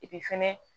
fɛnɛ